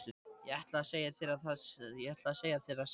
Ég ætlaði að segja þér það seinna.